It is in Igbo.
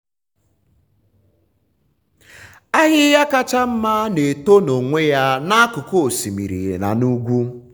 ahịhịa kacha mma na-eto n’onwe ya n’akụkụ osimiri na n’ugwu.